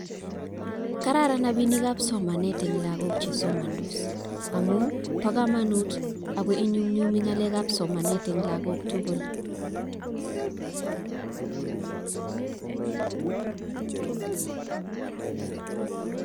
Kararan [appinik] ab somanet eng lagok ak inyumnyimi somanet eng lagok tukul